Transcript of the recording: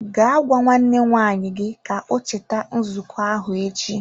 Gaa gwa nwanne nwaanyị gi ka o cheta nzuko ahụ echi!